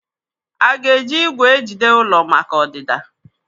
Aga eji igwè ejide ụlọ maka ọdịda?